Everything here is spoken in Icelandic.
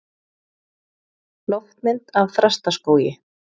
Loftmynd af Þrastaskógi.